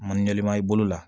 Mandenman i bolo la